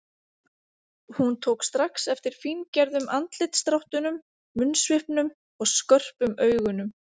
Hún tók strax eftir fíngerðum andlitsdráttunum, munnsvipnum og skörpum augunum.